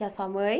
E a sua mãe?